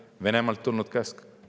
On see Venemaalt tulnud käsk?